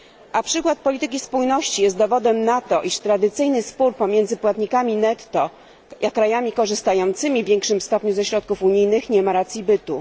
A przykład polityki spójności jest dowodem na to, iż tradycyjny spór pomiędzy płatnikami netto a krajami korzystającymi w większym stopniu ze środków unijnych nie ma racji bytu.